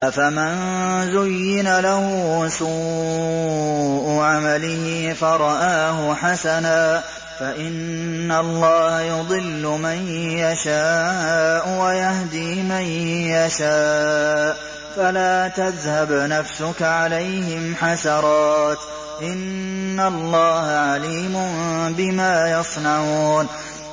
أَفَمَن زُيِّنَ لَهُ سُوءُ عَمَلِهِ فَرَآهُ حَسَنًا ۖ فَإِنَّ اللَّهَ يُضِلُّ مَن يَشَاءُ وَيَهْدِي مَن يَشَاءُ ۖ فَلَا تَذْهَبْ نَفْسُكَ عَلَيْهِمْ حَسَرَاتٍ ۚ إِنَّ اللَّهَ عَلِيمٌ بِمَا يَصْنَعُونَ